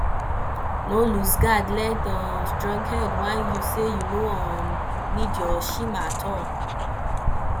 no losegard let um stronghead whine yu say yu no um nid yur shima at all